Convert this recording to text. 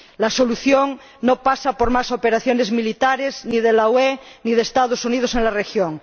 La solución no pasa por más operaciones militares ni de la UE ni de Estados Unidos en la región.